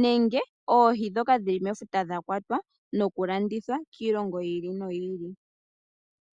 nenge oohi ndhoka dhili mefuta dha kwata nenge nokulandithwa kiilongo yiili noyiili.